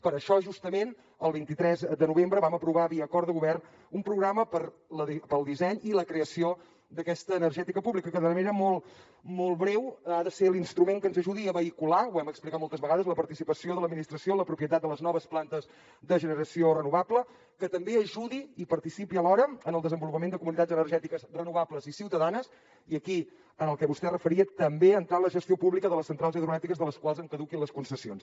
per això justament el vint tres de novembre vam aprovar via acord de govern un programa pel disseny i la creació d’aquesta energètica pública que de manera molt breu ha de ser l’instrument que ens ajudi a vehicular ho hem explicat moltes vegades la participació de l’administració en la propietat de les noves plantes de generació renovable que també ajudi i participi alhora en el desenvolupament de comunitats energètiques renovables i ciutadanes i aquí en el que vostè es referia també entrar en la gestió pública de les centrals hidroelèctriques de les quals en caduquin les concessions